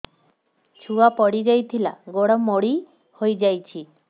ଛୁଆ ପଡିଯାଇଥିଲା ଗୋଡ ମୋଡ଼ି ହୋଇଯାଇଛି